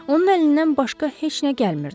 Onun əlindən başqa heç nə gəlmirdi.